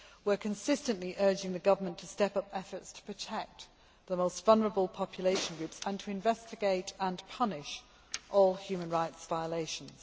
We are consistently urging the Government to step up efforts to protect the most vulnerable population groups and to investigate and punish all human rights violations.